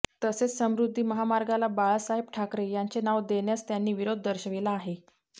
तसेच समृद्धी महामार्गाला बाळासाहेब ठाकरे यांचे नाव देण्यास त्यांनी विरोधी दर्शविला आहे